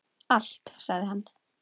Allt sagði hann.